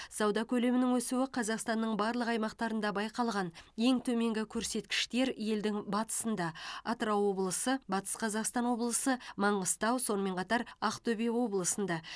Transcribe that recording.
сауда көлемінің өсуі қазақстанның барлық аймақтарында байқалған ең төменгі көрсеткіштер елдің батысында атырау облысы батыс қазақстан облысы маңғыстау сонымен қатар ақтөбе облысында